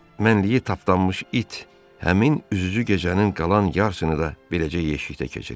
Mənliyi tapdanmış it həmin üzücü gecənin qalan yarısını da beləcə yeşikdə keçirdi.